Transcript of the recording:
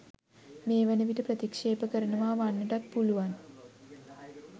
මේ වන විට ප්‍රතික්ෂේප කරනවා වන්නටත් පුළුවන්.